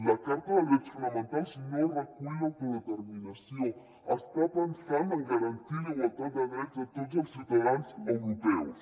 la carta de drets fonamentals no recull l’autodeterminació està pensant en garantir la igualtat de drets de tots els ciutadans europeus